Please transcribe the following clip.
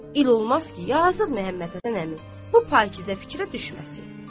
İl olmaz ki, yazıq Məhəmməd Həsən əmi bu pakizə fikrə düşməsin.